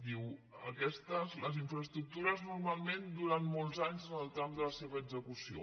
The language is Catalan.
diu les infraestructures normalment duren molts anys en el tram de la seva execució